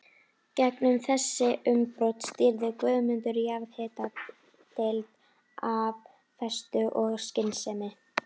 Gegnum þessi umbrot stýrði Guðmundur jarðhitadeild af festu og skynsemi.